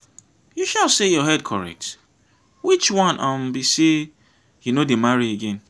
you sure say your head correct? which one um be say you no dey marry again?